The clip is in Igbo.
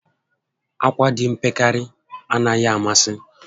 Akwa dị mpekere anaghị amasị